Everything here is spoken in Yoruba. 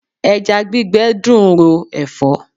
Ẹja gbígbẹ dùn ro ẹ̀fọ́.